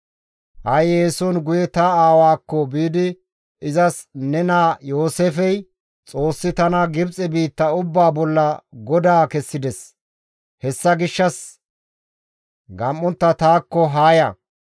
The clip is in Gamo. «Ha7i eeson guye ta aawaakko biidi izas ne naa Yooseefey, ‹Xoossi tana Gibxe biitta ubbaa bolla godaa kessides; hessa gishshas gam7ontta taakko haa ya.